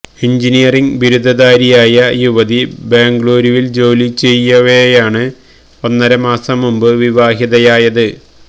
engineering ബിരുദധാരിയായ യുവതി ബംഗളുരുവിൽ ജോലി ചെയ്യവെയാണ് ഒന്നര മാസം മുമ്പ് വിവാഹിതയായത്